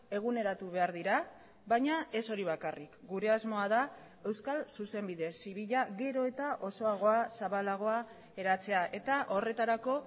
eguneratu behar dira baina ez hori bakarrik gure asmoa da euskal zuzenbide zibila gero eta osoagoa zabalagoa eratzea eta horretarako